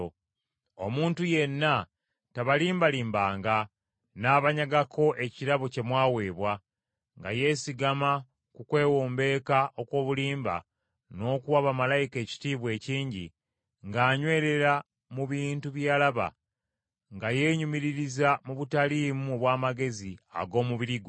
Omuntu yenna tabalimbalimbanga n’abanyagako ekirabo kye mwaweebwa, nga yeesigama ku kwewombeeka okw’obulimba n’okuwa bamalayika ekitiibwa ekingi, ng’anywerera mu bintu bye yalaba, nga yeenyumiririza mu butaliimu obw’amagezi ag’omubiri gwe.